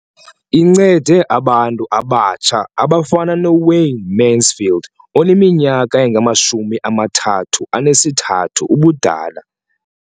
Incede abantu abatsha abafana noWayne Mansfield oneminyaka engama-33 ubudala.